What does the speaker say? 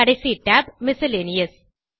கடைசி tab miscellaneous